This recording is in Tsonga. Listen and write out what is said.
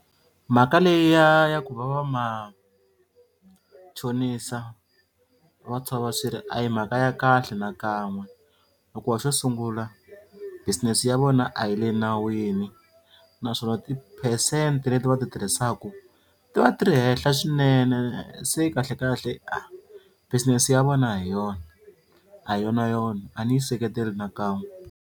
Mhaka leyi ya ya ku va va machonisa va tshova swirho a hi mhaka ya kahle nakan'we hikuva xo sungula business ya vona a yi le nawini naswona ti-percent leti va ti tirhisaku ti va ti ri henhla swinene se kahlekahle business ya vona a hi yona a hi yonayona a ni yi seketeri nakan'we.